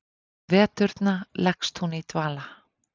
Á veturna leggst hún í dvala.